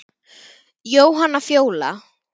Jóhanna Fjóla.